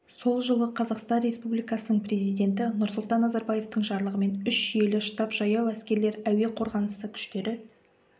сол жылы қазақстан республикасының президенті нұрсұлтан назарбаевтың жарлығымен үш жүйелі штаб жаяу әскерлер әуе қорғанысы күштері